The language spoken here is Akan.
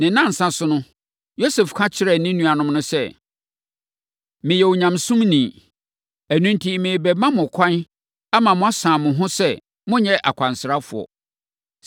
Ne nnansa so no, Yosef ka kyerɛɛ ne nuanom no sɛ, “Meyɛ onyamesuroni. Ɛno enti, merebɛma mo ɛkwan ama moasane mo ho sɛ monyɛ akwansrafoɔ.